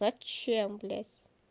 зачем блядь